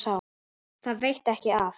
Það veitti ekki af.